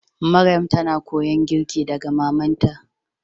Maryam ta na koyon girki daga mamanta.